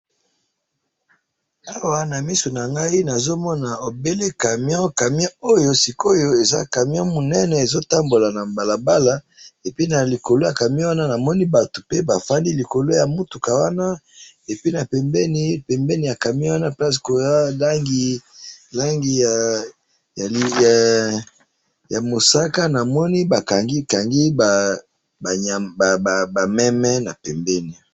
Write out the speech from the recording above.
awa na misu nangai nazomona camion, camion oyo sikoyo, eza camion munene ezotambola na balabala, et puis na likolo ya camion wana, namoni batu pe bafandi likolo ya mutuka wana, et puis na pembeni, pembeni ya camion wana place koya langi ya mosaka, namoni bakangi, kangi ba meme na pembeni